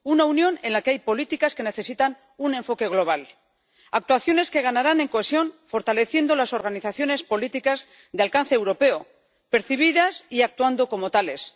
Una Unión en la que hay políticas que necesitan un enfoque global, actuaciones que ganarán en cohesión fortaleciendo las organizaciones políticas de alcance europeo, percibidas y actuando como tales.